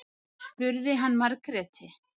spurði hann Margréti.